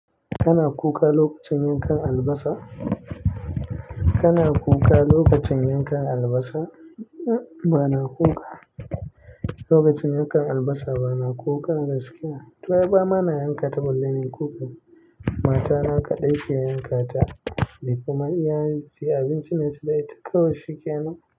Kana kuka lokacin yankan albasa? Kana kuka lokacin yankan albasa? Ba na kuka. Lokacin yankan albasa, ba na kuka gaskiya. To ai ba ma na yankata balle ns yi kuka. Matana kaɗai ke yankata, ni kuma iya in sai abinci na ci na yi tak kawai shikenan na.